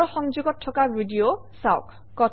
তলৰ সংযোগত থকা ভিডিঅ চাওক